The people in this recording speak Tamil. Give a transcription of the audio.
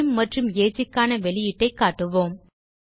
நேம் மற்றும் ageக்கான வெளியீட்டைக் காட்டுவோம்